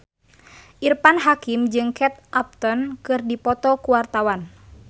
Irfan Hakim jeung Kate Upton keur dipoto ku wartawan